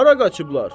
Hara qaçıblar?